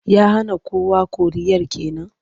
Ya hana kowa koriyar ke nan?